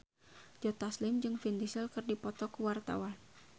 Joe Taslim jeung Vin Diesel keur dipoto ku wartawan